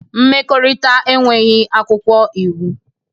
Mmekọrịta enweghị akwụkwọ iwu.